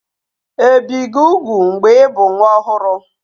Ebì gị úgwù mgbe ị bụ nwa ọhụrụ?